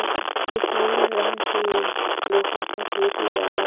एक नील रंग के लोहा का गेट लगाया--